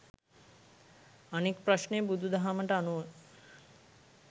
අනික් ප්‍රශ්නය බුදු දහමට අනුව